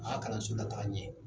A ka kalanso lataga ɲɛ